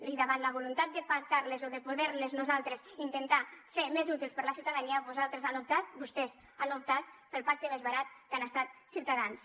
i davant la voluntat de pactar les o de poder les nosaltres intentar fer més útils per a la ciutadania vostès han optat pel pacte més barat que ha estat ciutadans